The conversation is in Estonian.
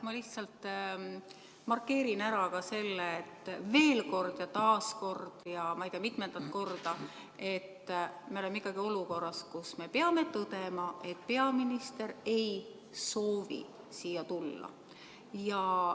Ma lihtsalt markeerin ära selle, et veel kord ja taas kord ja ma ei tea mitmendat korda me oleme olukorras, kus me peame tõdema, et peaminister ei soovi siia tulla.